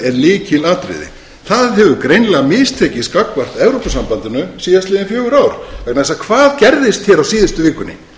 er lykilatriði það hefur greinilega mistekist gagnvart evrópusambandinu síðastliðin fjögur ár vegna þess að hvað gerðist hér á síðustu vikunni